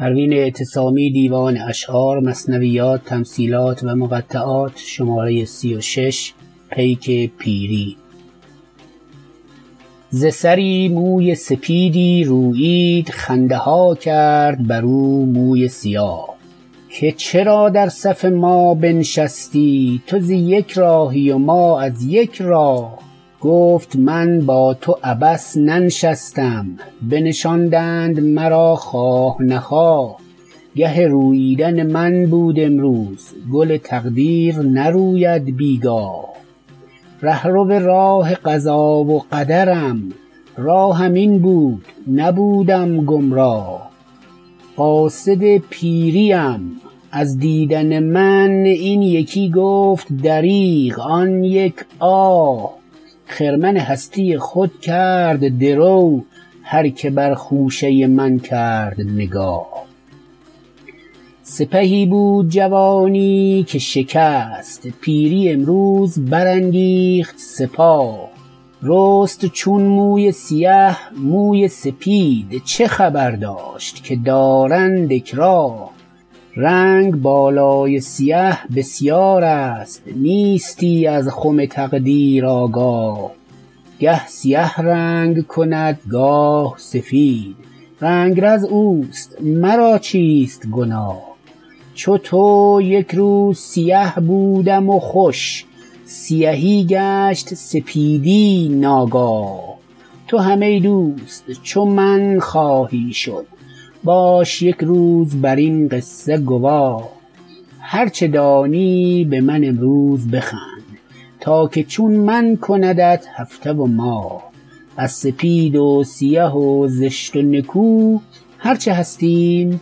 ز سری موی سپیدی رویید خنده ها کرد بر او موی سیاه که چرا در صف ما بنشستی تو ز یک راهی و ما از یک راه گفت من با تو عبث ننشستم بنشاندند مرا خواه نخواه گه روییدن من بود امروز گل تقدیر نروید بیگاه رهرو راه قضا و قدرم راهم این بود نبودم گمراه قاصد پیری ام از دیدن من این یکی گفت دریغ آن یک آه خرمن هستی خود کرد درو هر که بر خوشه من کرد نگاه سپهی بود جوانی که شکست پیری امروز برانگیخت سپاه رست چون موی سیه موی سپید چه خبر داشت که دارند اکراه رنگ بالای سیه بسیار است نیستی از خم تقدیر آگاه گه سیه رنگ کند گاه سفید رنگرز اوست مرا چیست گناه چو تو یکروز سیه بودم و خوش سیهی گشت سپیدی ناگاه تو هم ای دوست چو من خواهی شد باش یک روز بر این قصشه گواه هر چه دانی به من امروز بخند تا که چون من کندت هفته و ماه از سپید و سیه و زشت و نکو هر چه هستیم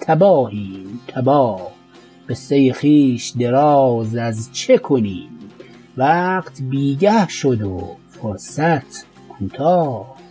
تباهیم تباه قصه خویش دراز از چه کنیم وقت بیگه شد و فرصت کوتاه